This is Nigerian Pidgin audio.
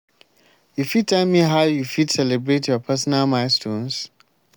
you fit tell me how you fit celebrate your personal milestones?